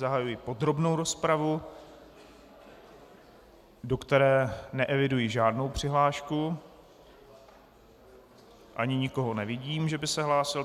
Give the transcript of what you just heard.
Zahajuji podrobnou rozpravu, do které neeviduji žádnou přihlášku ani nikoho nevidím, že by se hlásil.